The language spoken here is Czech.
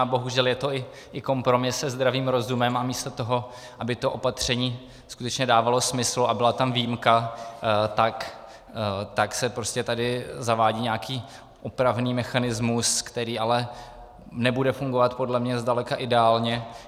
A bohužel je to i kompromis se zdravým rozumem, a místo toho, aby to opatření skutečně dávalo smysl a byla tam výjimka, tak se prostě tady zavádí nějaký opravný mechanismus, který ale nebude fungovat podle mě zdaleka ideálně.